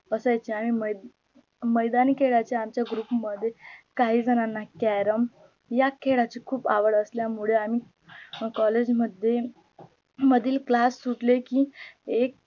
असायच्या आणि माई मैदानी खेळाच्याआमच्या group मध्ये काही जणांना क्यारम या खेळाची खूप आवड असल्यामुळे आम्ही collage मध्ये मधील class सुटले की एक